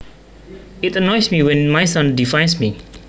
It annoys me when my son defies me